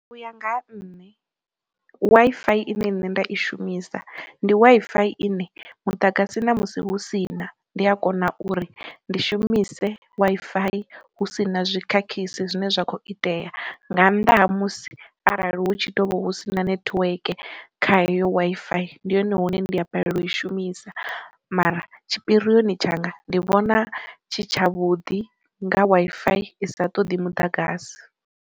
U ya nga ha nṋe, Wi-Fi ine nṋe nda i shumisa ndi Wi-Fi ine muḓagasi na musi hu sina ndi a kona uri ndi shumise Wi-Fi hu si na zwikhakhisi zwine zwa kho itea nga nnḓa ha musi arali hu tshi ḓo vha hu sina network kha heyo Wi-Fi ndi hone hune ndi a balelwa u i shumisa, mara tshipirioni tshanga ndi vhona tshi tsha vhudi nga Wi-Fi i sa ṱoḓi muḓagasi.